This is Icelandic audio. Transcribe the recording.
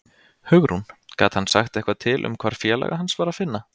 Hugrún: Gat hann sagt eitthvað til um hvar félaga hans var að finna?